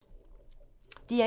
DR1